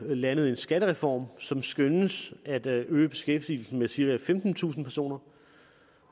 landet en skattereform som skønnes at øge beskæftigelsen med cirka femtentusind personer